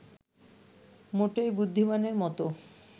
মোটেই বুদ্ধিমানের মতো